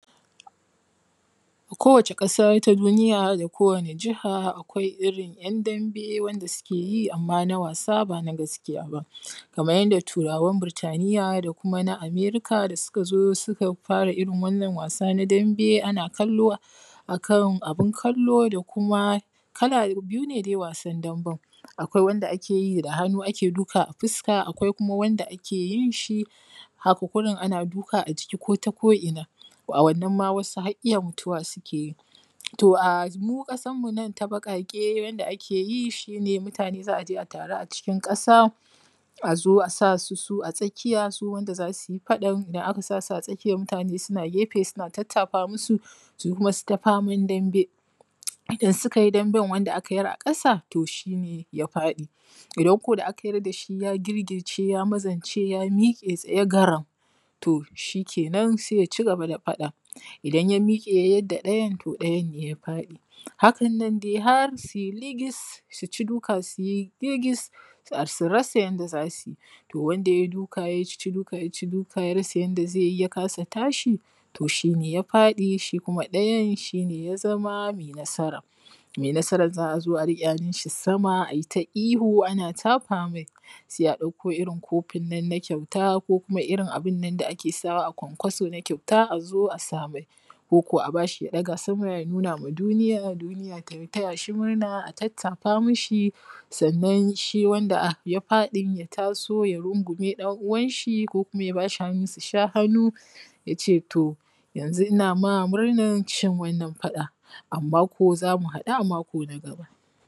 ko wacce ƙasa na duniya da wani Jaha akwai irin ‘yan ɗanbe wanda suke yi amma na wasa ba na gaskiya ba kamar yadda turawan Burtaniya da kuma na Amerika da suka zo sun fara irin wannan wasa na ɗanbe ana kallo a kan abin kallo da kuma kala biyu ne, wasan ɗanben akwai wanda ake yi da hanu ake duka a fuska akwai kuma wanda ake yin shi, haka gurin ana duka a jiki ko ta ko ina a wannan ma har wasu mutuwa ke iya yi, toh a mu kasar mu nan ta baƙaƙe yadda ake yi shi ne mutane za a taru a cikin kasa azo a sa su a tsakiya su wanda zasu yi faɗan da aka sasu a tsakiyar mutane suna gefe suna tattafa musu su kuma su ta faman ɗanbe idan suka yi ɗanben wanda aka yar a kasa toh shi ne ya faɗi idan ko da aka yar da shi ya girgirce ya mazace ya mike tsaye garam toh shi kenan sai ya cigaba da faɗa idan ya mike ya yar da ɗayan toh ɗayan ne ya faɗi hakan dai har su yi ligis su ci duka su yi ligis su rasa yadda za su yi wanda yayi duka ya ci duka ya rasa yadda zai yi ya kasa tashi shine ya faɗi shi kuma ɗayan shine ya zama mai nasara, mai nasaran za a zo a riƙe hannun shi sama ayi ta ihu ana tafa mai sai a ɗakko irin kofin nan na kyauta ko kuma irin abin nan da ake sawa a kwankwaso na kyauta azo a sa mai ko ko a bashi ya daga sama ya nuna ma duniya, duniya ta taya shi murna a tattafa mishi sannan shi wanda ya faɗi ya rungume ɗan’uwan shi ko kuma ya bashi hannu su sha hannu yace toh yanzu ina ma murnar cin wannan faɗan amma ko zaku haɗu a mako na gaba.